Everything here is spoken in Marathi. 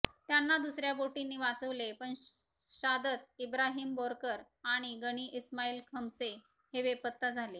त्यांना दुसऱ्या बोटींनी वाचवले पण शादत इब्राहिम बोरकर आणि गणी इस्माईल खमसे हे बेपत्ता झाले